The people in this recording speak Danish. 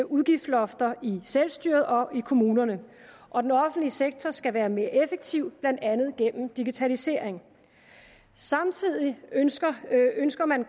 udgiftslofter i selvstyret og i kommunerne og den offentlige sektor skal være mere effektiv blandt andet digitalisering samtidig ønsker ønsker man